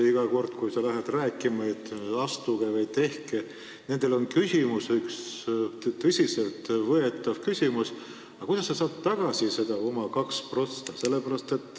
Iga kord, kui ma lähen rääkima, et tehke see sammas, on neil üks tõsiselt võetav küsimus: aga kuidas ma saan tagasi need oma äramakstud 2%?